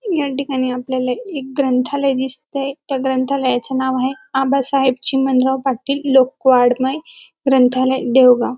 या ठिकाणी आपल्याला एक ग्रंथालय दिसते त्या ग्रंथालयाचे नाव आहे आबासाहेब चिमणराव पाटील लोकवाड्मय ग्रंथालय देवगाव.